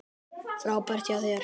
Frábært hjá þér!